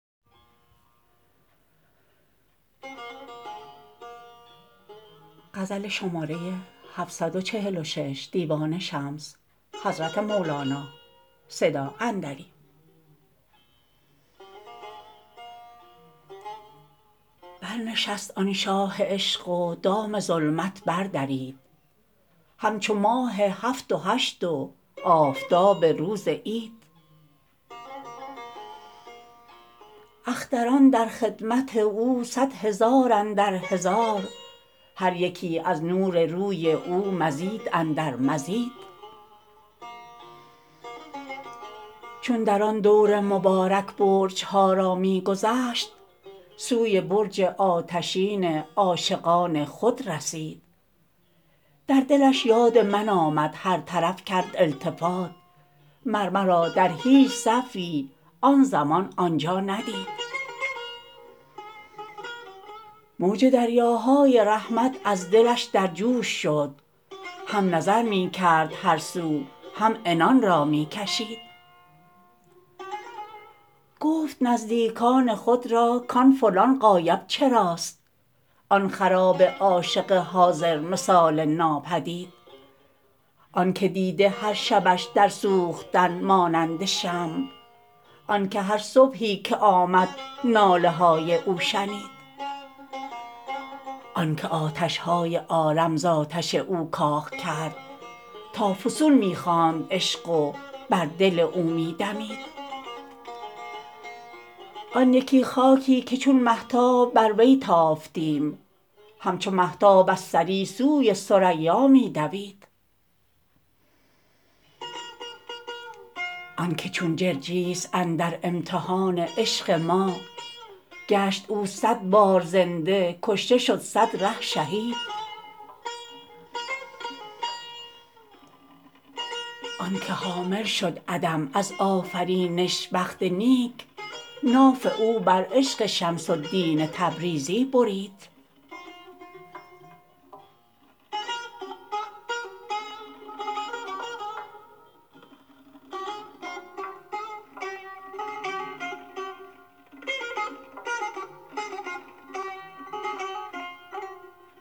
برنشست آن شاه عشق و دام ظلمت بردرید همچو ماه هفت و هشت و آفتاب روز عید اختران در خدمت او صد هزار اندر هزار هر یکی از نور روی او مزید اندر مزید چون در آن دور مبارک برج ها را می گذشت سوی برج آتشین عاشقان خود رسید در دلش یاد من آمد هر طرف کرد التفات مر مرا در هیچ صفی آن زمان آن جا ندید موج دریاهای رحمت از دلش در جوش شد هم نظر می کرد هر سو هم عنان را می کشید گفت نزدیکان خود را کان فلان غایب چراست آن خراب عاشق حاضرمثال ناپدید آنک دیده هر شبش در سوختن مانند شمع آنک هر صبحی که آمد ناله های او شنید آنک آتش های عالم ز آتش او کاغ کرد تا فسون می خواند عشق و بر دل او می دمید آن یکی خاکی که چون مهتاب بر وی تافتیم همچو مهتاب از ثری سوی ثریا می دوید آنک چون جرجیس اندر امتحان عشق ما گشت او صد بار زنده کشته شد صد ره شهید آنک حامل شد عدم از آفرینش بخت نیک ناف او بر عشق شمس الدین تبریزی برید